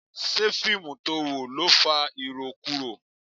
Ṣé fíìmù to wò ló fa irokuro?